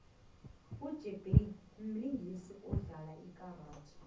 ijet lee mlingisi odlalo lkaradi